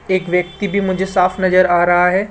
एक व्यक्ति भी मुझे साफ नजर आ रहा है।